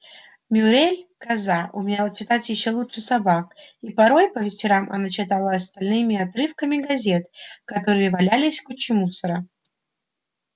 мюриель коза умела читать ещё лучше собак и порой по вечерам она читала остальным обрывки газет которые валялись в куче мусора